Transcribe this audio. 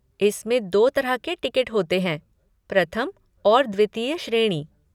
इसमें दो तरह के टिकट होते हैं, प्रथम और द्वितीय श्रेणी।